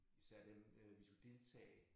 Især dem øh vi skulle deltage